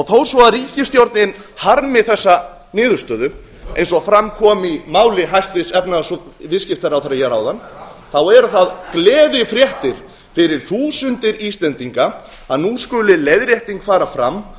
þó svo að ríkisstjórnin harmi þessa niðurstöðu eins og fram kom í máli hæstvirts efnahags og viðskiptaráðherra hér áðan eru það gleðifréttir fyrir þúsundir íslendinga að nú skuli leiðrétting fara fram